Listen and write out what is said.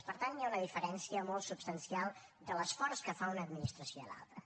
per tant hi ha una diferència molt substancial de l’esforç que fa una administració i l’altra